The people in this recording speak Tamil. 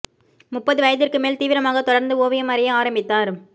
முப்பது வயதிற்கு மேல் தீவிரமாக தொடர்ந்து ஓவியம் வரைய ஆரம்பித்தார்